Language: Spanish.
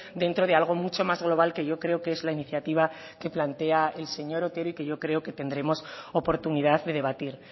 dentro de algo mucho más global que yo creo que es la iniciativa que plantea el señor otero y que yo creo que tendremos oportunidad de debatir